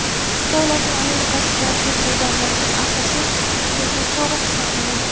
Xitoy Lotin Amerikasidagi bu davlatning asosiy kreditori hisoblanadi.